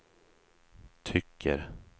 tycker